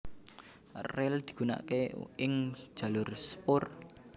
Ril digunakaké ing jalur sepur